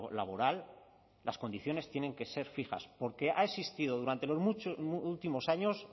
laboral las condiciones tienen que ser fijas porque ha existido durante los últimos años